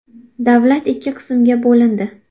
Davlat ikki qismga bo‘lindi.